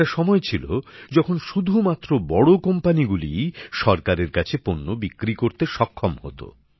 একটা সময় ছিল যখন শুধুমাত্র বড় কোম্পানিগুলিই সরকারের কাছে পণ্য বিক্রি করতে সক্ষম হতো